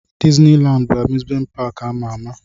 Dizni Landi bụ amuzment paki ama ama.